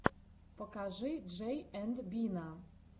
покажи джей энд бина